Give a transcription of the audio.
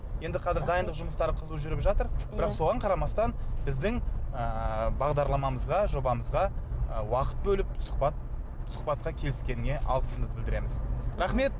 енді қазір дайындық жұмыстары қызу жүріп жатыр бірақ соған қарамастан біздің ыыы бағдарламамызға жобамызға уақыт бөліп сұхбат сұхбатқа келіскеніңе алғысымызды білдіреміз рахмет